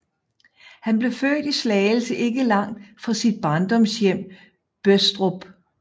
Han blev født i Slagelse ikke langt fra sit barndomshjem Bøstrup